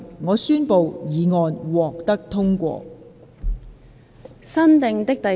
我宣布議案獲得通過。